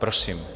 Prosím.